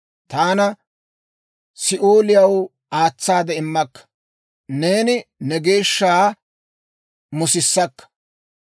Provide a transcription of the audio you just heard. Taana Si'ooliyaw aatsaade immakka; neeni ne geeshsha musissakka.